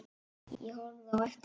Ég horfði á eftir þeim.